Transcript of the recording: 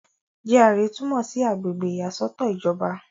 GRA túmọ̀ sí àgbègbè ìyàsọ́tọ̀ ìjọba.